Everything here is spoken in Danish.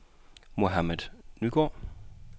Mohammad Nygaard